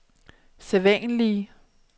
sædvanlige